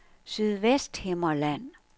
Sydvesthimmerland